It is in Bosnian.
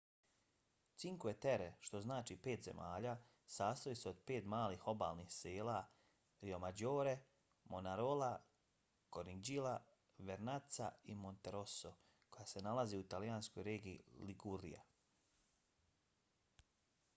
cinque terre što znači pet zemalja sastoji se od pet malih obalnih sela riomaggiore manarola corniglia vernazza i monterosso koja se nalaze u italijanskoj regiji ligurija